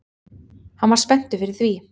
Hann var spenntur fyrir því